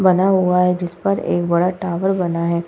बना हुआ है जिस पर एक बड़ा टावर बना हैं।